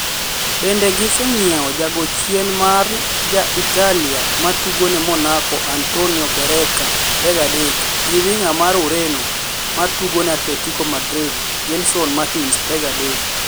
Bende gi senyiew jago chien mar ja Italia matugone Monaco Antonio Barreca, 23, gi winga mar Ureno matugo ne Atletico Madrid Gelson Martins, 23.